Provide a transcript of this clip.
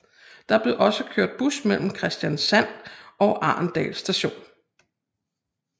Der blev også kørt bus mellem Kristiansand og Arendal Station